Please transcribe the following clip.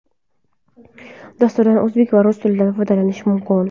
Dasturdan o‘zbek va rus tillarida foydalanish mumkin.